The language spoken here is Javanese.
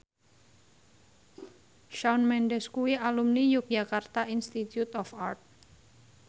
Shawn Mendes kuwi alumni Yogyakarta Institute of Art